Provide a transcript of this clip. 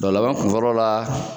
Lɔ laban kun fɔlɔ la